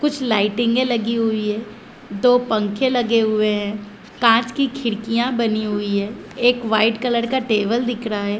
कुछ लाइटिंगे लगी हुई है। दो पंखे लगे हुए है। कांच की खिड़किया बनी हुई है। एक वाइट कलर का टेबल दिख रहा है।